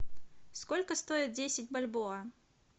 сколько стоит десять бальбоа